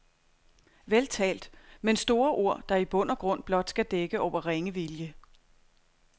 Vel talt, men store ord, der i bund og grund blot skal dække over ringe vilje.